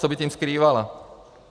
Co by tím skrývala?